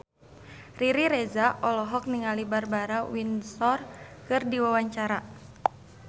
Riri Reza olohok ningali Barbara Windsor keur diwawancara